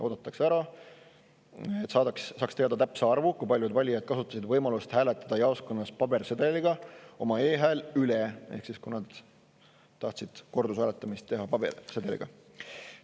Oodatakse ära, et saadaks teada täpne arv, kui paljud valijad kasutasid võimalust hääletada jaoskonnas pabersedeliga oma e-häält üle ehk siis, kui paljud tahtsid kordushääletamist teha pabersedeliga.